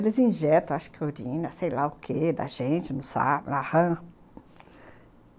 Eles injetam, acho que urina, sei lá o que, da gente, não sabe, la rã.